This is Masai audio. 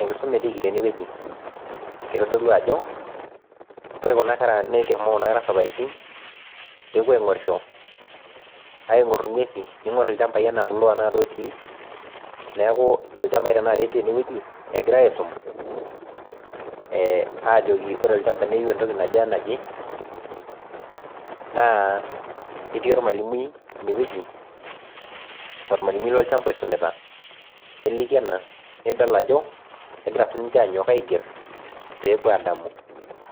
enkisuma etiki teneweji kitodolu ajo ore kuna kera neshomoito isaparitin pee epuo aing'orisho ning'or ing'uesin ning'or ilchambai, neeku ilchambai tenakata etii teweji egirai asim ajoki ore olchamba neyieu entoki naje wenaje naketii olmalimui ine weji olmalimui lo olchamba oisumita , neliki ena nidol ajo egira siiniche anyok aiger pee epuo adamu